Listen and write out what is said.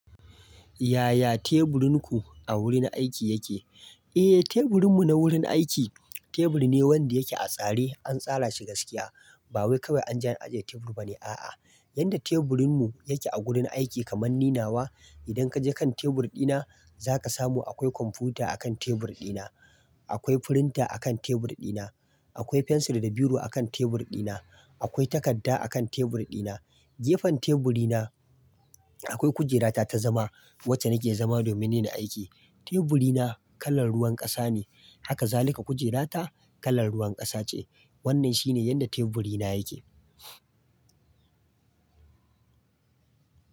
Yaya teburinku a wurin aiki yake? Eh, teburin mu na wurin aiki, teburi ne wanda yake a tsare, an tsara shi gaskiya. Ba wai kawai an je an ajiye tebur ba ne, a'a. Yadda teburin mu yake a gurin aiki kamar ninawa. Idan kaje kan tebur dina, zaka samu akwai kwamfuta a kan tebur dina, akwai firinta a kan tebur dina, akwai fensir da biro a kan tebur dina, akwai takadda a kan tebur dina. Gefen teburi na akwai kujera ta ta zama, wacce nake zama domin nina aiki. Teburi na kalan ruwan ƙasa ne, haka zalika kujera ta kalan ruwan ƙasa ce. Wannan shine yadda teburi na yake.